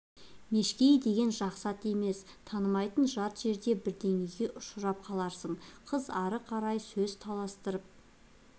мешкейі деген жақсы ат емес танымайтын жат жерде бірдеңеге ұшырап қаларсың қыз ары қарай сөз таластырып